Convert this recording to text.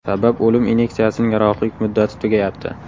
Sabab o‘lim inyeksiyasining yaroqlilik muddati tugayapti.